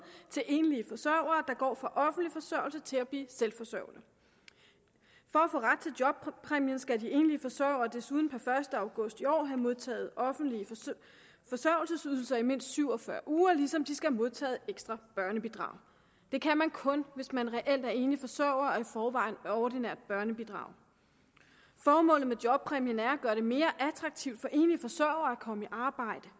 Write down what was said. til enlige forsørgere der går fra offentlig forsørgelse til at blive selvforsørgende for at få ret til jobpræmien skal de enlige forsørgere desuden per første august i år have modtaget offentlige forsørgelsesydelser i mindst syv og fyrre uger ligesom de skal have modtaget ekstra børnebidrag det kan man kun hvis man reelt er enlig forsørger og i forvejen får ordinært børnebidrag formålet med jobpræmien er at gøre det mere attraktivt for enlige forsørgere at komme i arbejde